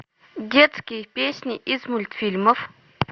детские песни из мультфильмов